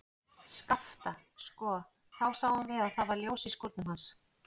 Skapta, sko, þá sáum við að það var ljós í skúrnum hans.